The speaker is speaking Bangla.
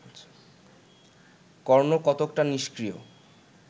কর্ণ কতকটা নিস্ক্রিয়